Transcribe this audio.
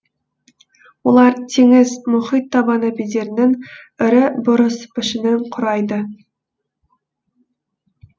олар теңіз мұхит табаны бедерінің ірі бұрыс пішінін құрайды